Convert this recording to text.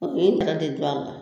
de don a la